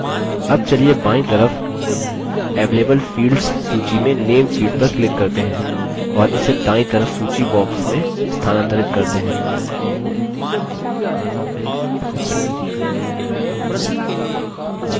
double चलिए बायीं तरफ available fields सूची में name field पर click करते हैं और इसे दायीं तरफ सूची box में स्थानांतरित करते हैं